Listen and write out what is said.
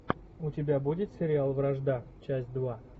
у тебя будет сериал вражда часть два